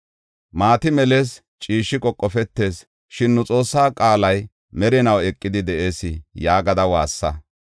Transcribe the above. Maati melees; ciishshi qoqofetees; shin nu Xoossaa qaalay merinaw eqidi de7ees” yaagada waassa.